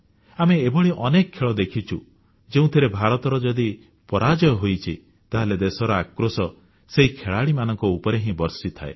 ଆମେ ଏଭଳି ଅନେକ ଖେଳ ଦେଖିଛୁ ଯେଉଁଥିରେ ଭାରତର ଯଦି ପରାଜୟ ହୋଇଛି ତାହେଲେ ଦେଶର ଆକ୍ରୋଶ ସେହି ଖେଳାଳିମାନଙ୍କ ଉପରେ ହିଁ ବର୍ଷିଥାଏ